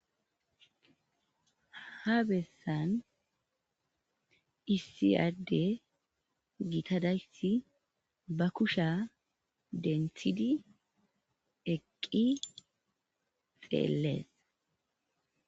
Ha bessan issi adde gita dayssi ba kushiya denththidi eqqi xeelees.